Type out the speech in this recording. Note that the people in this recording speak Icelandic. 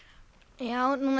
já núna